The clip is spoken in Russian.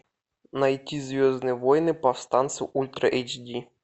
найти звездные войны повстанцы ультра эйч ди